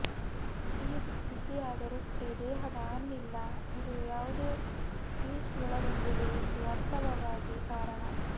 ಈ ಬಿಸಿಯಾದ ರೊಟ್ಟಿ ದೇಹದ ಹಾನಿ ಇಲ್ಲ ಇದು ಯಾವುದೇ ಯೀಸ್ಟ್ ಒಳಗೊಂಡಿದೆ ಎಂದು ವಾಸ್ತವವಾಗಿ ಕಾರಣ